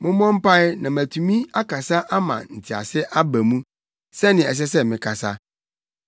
Mommɔ mpae na matumi akasa ama ntease aba mu, sɛnea ɛsɛ sɛ mekasa.